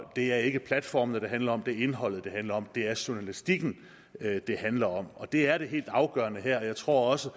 det er ikke platformene det handler om det er indholdet det handler om det er journalistikken det handler om og det er det helt afgørende her jeg tror også